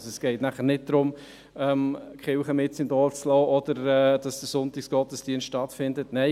Es geht nicht darum, die Kirche mitten im Dorf zu lassen oder den Sonntagsgottesdienst durchzuführen.